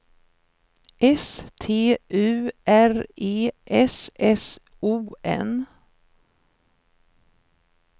S T U R E S S O N